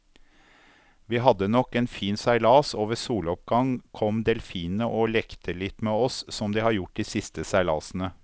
Vi hadde nok en fin seilas, og ved soloppgang kom delfinene og lekte litt med oss som de har gjort de siste seilasene.